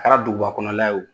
Kɛra duguba kɔnɔla ye o